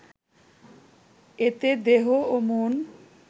এতে দেহ ও মন